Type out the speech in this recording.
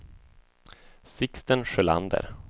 Sixten Sjölander